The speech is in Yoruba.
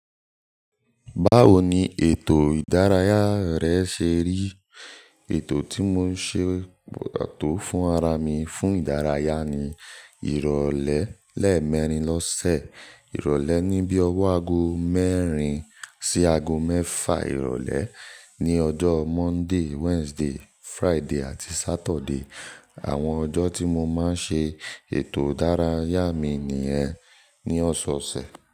Báwo ni ètò ìdárayá rẹ ṣe rí? Ètò tí mo ṣe pàtó fún ara mi fún ìdárayá ni ìrọ̀lẹ́ lẹ́ẹ̀mẹrin lọ́sẹ̀. Ìrọ̀lẹ́ ní bí i ọwọ́ aago mẹ́rin sí aago mẹ́ẹ̀fà ìrọ̀lẹ́. Ní ọjọ́ Monday, Wednesday, Friday àti Saturday. Àwọn ọjọ́ tí mo máa ń ṣe ètò ìdárayá mi nìyẹn ní ọ̀sẹ̀ ọ̀sẹ̀.